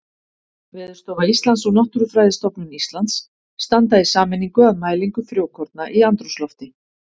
Veðurstofa Íslands og Náttúrufræðistofnun Íslands standa í sameiningu að mælingu frjókorna í andrúmslofti.